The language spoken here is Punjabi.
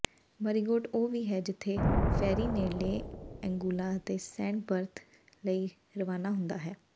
ਮਰੀਗੋਟ ਉਹ ਵੀ ਹੈ ਜਿੱਥੇ ਫੈਰੀ ਨੇੜਲੇ ਏਂਗੂਲਾ ਅਤੇ ਸੈਂਟ ਬੱਰਥ ਲਈ ਰਵਾਨਾ ਹੁੰਦਾ ਹੈ